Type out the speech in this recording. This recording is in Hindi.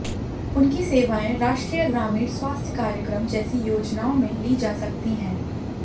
उनकी सेवाएं राष्ट्रीय ग्रामीण स्वास्थ्य कार्यक्रम जैसी योजनाओं में ली जा सकती हैं